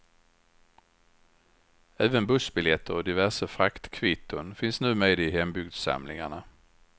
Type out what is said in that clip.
Även bussbiljetter och diverse fraktkvitton finns nu med i hembygdssamlingarna.